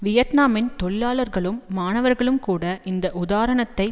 வியட்நாமின் தொழிலாளர்களும் மாணவர்களும் கூட இந்த உதாரணத்தை